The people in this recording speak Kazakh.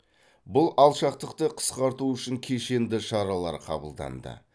бұл алшақтықты қысқарту үшін кешенді шаралар қабылданды